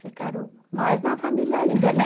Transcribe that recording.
Ficaram mais na família ainda, né?